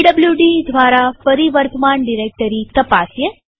PWD દ્વારા ફરી વર્તમાન ડિરેક્ટરી તપાસીએ